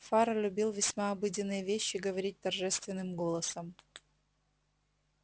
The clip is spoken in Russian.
фара любил весьма обыденные вещи говорить торжественным голосом